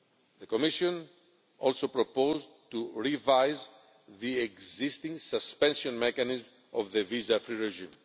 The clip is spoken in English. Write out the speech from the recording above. The Commission also proposed to revise the existing suspension mechanism of the visa free regime.